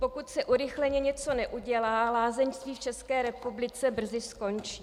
Pokud se urychleně něco neudělá, lázeňství v České republice brzy skončí.